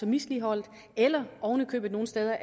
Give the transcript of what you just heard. misligholdte eller oven i købet nogle steder